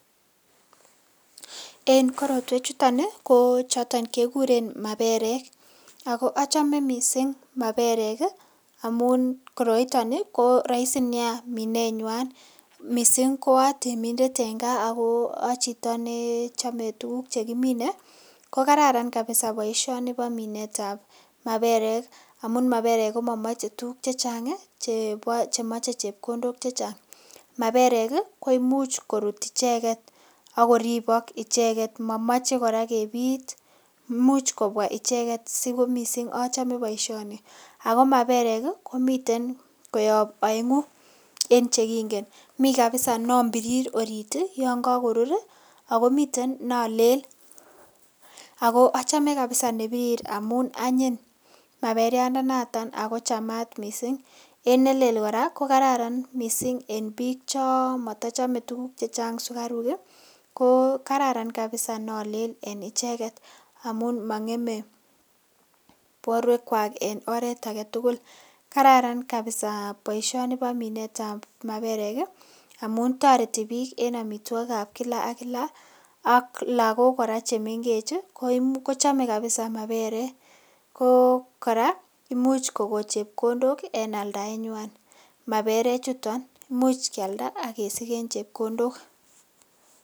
En korotwe chuton kochoton keguren maperek. Ago achame mising maperek amun koroiton ko raisi nea minenyan mising ko atemindet en kaa ago achito nechome tuguk chekimine ko kararan kapisa boisioni bo minetab maperek amun maperek komamache tuguk che chang chemoche chepkondok chechang. Maperek koimuch korut icheget ak koribok icheget. Momoche kora kepit. Imuch kobwa icheget sokomising achome boisioni. Ago maperek ii komiten koyob aengu en chekingen. Mi kapisa nonbirir orit yon kagorur ago miten nolel. Ago achome kapisa nebirir amun anyiny maperiandanoto ago chamat kot mising. En nelel kora kokararan mising en biik chomotochame tuguk chechang sugaruk. Ko kararan kapisa nolel en icheget amun mongeme borwekwak en oret age tugul. Kararan kapisa boisioni bo minetab maperek amun toreti biik en amitwogikab kila ak kila ak lagok kora chemengech, kochome kapisa maperek. Ko kora imuch kogon chepkondok en aldaenywan maperechuton. Imuch kialda ak kesigen chepkondok.